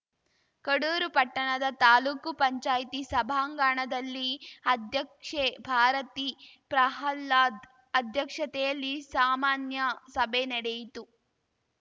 ಕಡೂರು ಪಟ್ಟಣದ ತಾಲೂಕು ಪಂಚಾಯ್ತಿ ಸಭಾಂಗಣದಲ್ಲಿ ಅಧ್ಯಕ್ಷೆ ಭಾರತಿ ಪ್ರಹ್ಲಾದ್‌ ಅಧ್ಯಕ್ಷತೆಯಲ್ಲಿ ಸಾಮಾನ್ಯ ಸಭೆ ನಡೆಯಿತು